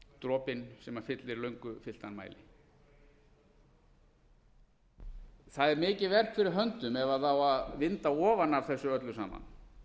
dropinn sem fyllir löngu fylltan mæli það er mikið verk fyrir höndum ef á að vinda ofan af þessu öllu saman